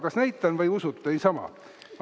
Kas näitan või usute niisama?